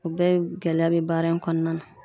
O bɛɛ gɛlɛya be baara in kɔnɔna na.